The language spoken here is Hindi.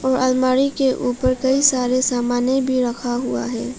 आलमारी के ऊपर कई सारे सामाने भी रखा हुआ है।